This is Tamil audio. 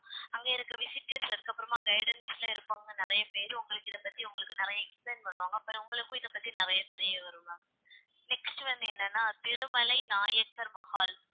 அங்க இருக்க visitors அதுக்கப்புறமா guidance ல இருக்கவங்க நிறைய பேரு உங்களுக்கு இதை பத்தி உங்களுக்கு நிறைய explain பண்ணுவாங்க உங்களுக்கும் இதை பத்தி நிறைய தெரிய வரும் ma'am next வந்து என்னன்னா திருமலை நாயக்கர் மஹால்